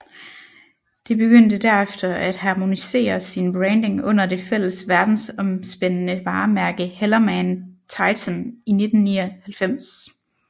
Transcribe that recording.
Det begyndte derefter at harmonisere sin branding under det fælles verdensomspændende varemærke HellermannTyton i 1999